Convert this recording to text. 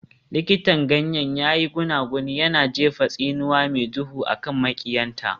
Likitan ganyen ya yi gunaguni, yana jefa tsinuwa mai duhu a kan maƙiyanta.